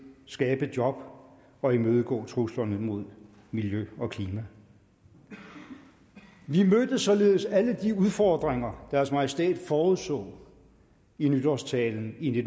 skabe job og imødegå truslerne mod miljø og klima vi mødte således alle de udfordringer deres majestæt forudså i nytårstalen i